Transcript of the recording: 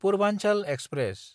Purvanchal express